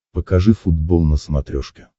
покажи футбол на смотрешке